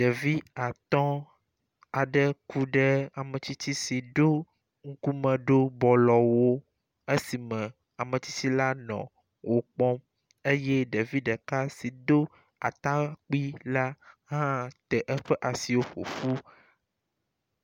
Ɖevi atɔ aɖe ku ɖe ame tsitsi si ɖo ŋkume ɖo bɔlɔ wu esi me ame tsitsi la nɔ wo kpɔm eye ɖevi ɖeka si do atakpui la te eƒe asiwo ƒoƒu.